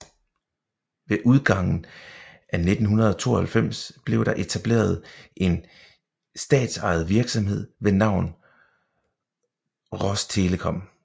Ved udgangen af 1992 blev der etableret en statsejet virksomhed ved navn Rostelekom